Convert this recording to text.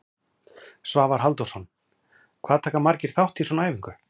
Svavar Halldórsson: Hvað taka margir þátt í svona æfingu?